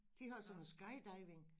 De har sådan noget skydiving